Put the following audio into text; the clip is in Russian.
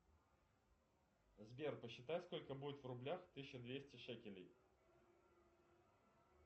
сбер посчитай сколько будет в рублях тысяча двести шекелей